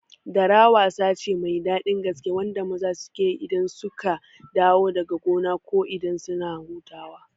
Dara wasa ce mai daɗi gaske wanda maza suke yi idan suka dawo daga gona ko idan suna hutawa